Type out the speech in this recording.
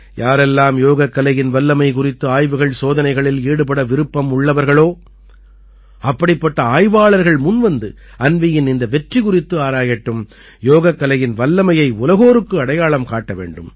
யாரெல்லாம் யோகக்கலையின் வல்லமை குறித்து ஆய்வுகள்சோதனைகளில் ஈடுபட விருப்பம் உள்ளவர்களோ அப்படிப்பட்ட ஆய்வாளர்கள் முன்வந்து அன்வீயின் இந்த வெற்றி குறித்து ஆராயட்டும் யோகக்கலையின் வல்லமையை உலகோருக்கு அடையாளம் காட்ட வேண்டும்